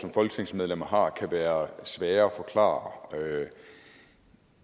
som folketingsmedlemmer har kan være svære at forklare